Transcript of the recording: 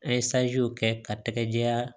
An ye kɛ ka tɛgɛ diyan